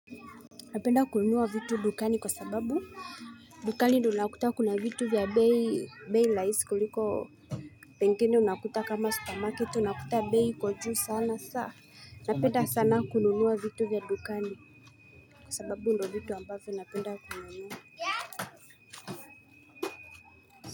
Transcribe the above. Napenda kununua vitu dukani kwa sababu dukani unakuta kuna vitu vya bei raisi kuliko Pengeni unakuta kama supermarket unakuta bei iko juu sana sasa Napenda sana kununua vitu vya dukani kwa sababu ndio vitu ambavyo ninapenda kununua.